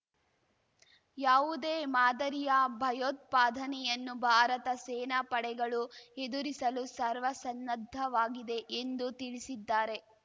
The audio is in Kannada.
ಯಾವುದೇ ಮಾದರಿಯ ಭಯೋತ್ಪಾದನೆಯನ್ನು ಭಾರತ ಸೇನಾ ಪಡೆಗಳು ಎದುರಿಸಲು ಸರ್ವಸನ್ನದ್ಧವಾಗಿದೆ ಎಂದು ತಿಳಿಸಿದ್ದಾರೆ